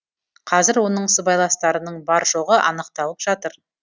қазір оның сыбайластарының бар жоғы анықталып жатыр